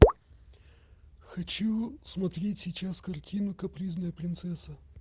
хочу смотреть сейчас картину капризная принцесса